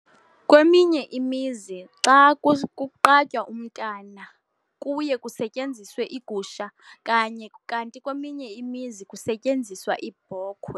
Kweminye imizi xa kuqatywa umntwana kuye kusetyenziswe igusha kanye, kanti kweminye imizi kusetyenziswa ibhokhwe.